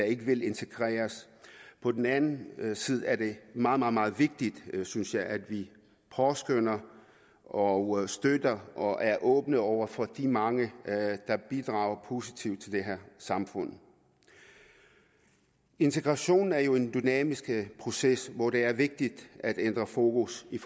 ikke vil integreres på den anden side er det meget meget vigtigt synes jeg at vi påskønner og støtter og er åbne over for de mange der bidrager positivt til det her samfund integration er jo en dynamisk proces hvor det er vigtigt at ændre fokus i